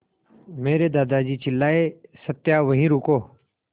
मेरे दादाजी चिल्लाए सत्या वहीं रुको